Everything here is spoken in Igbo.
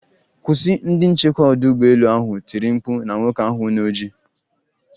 Kwụsị!,ndi nchekwa odu ugbo elu ahụ tiri mkpu na nwoke ahụ na oji.